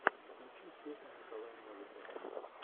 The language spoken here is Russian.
включи песня николая новикова